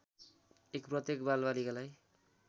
१ प्रत्येक बालबालिकालाई